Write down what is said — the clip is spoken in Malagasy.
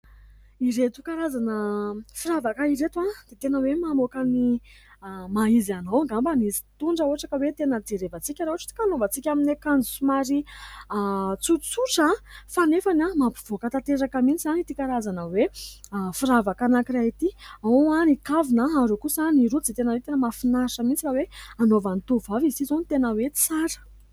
Ireto karazana firavaka ireto dia tena hoe mamoaka ny maha izy anao angamba izy itony raha ohatra ka hoe tena jerevan-tsika. Raha ohatra ka hoe anaovan-tsika amin'ny akanjo somary tsotsotra fa nefany mampivoaka tanteraka mihitsy ity karazana hoe firavaka anankiray ity. Ao ny kavina ary ao kosa ny rojo, izay tena hoe tena mahafinaritra mihitsy raha hoe anaovan'ny tovovavy izy ity izao no tena hoe tsara.